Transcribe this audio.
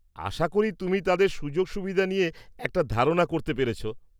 আশা করি তুমি তাঁদের সুযোগ সুবিধা নিয়ে একটা ধারণা করতে পেরেছ।